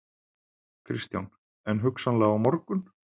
Kristján: En hugsanlega á morgun?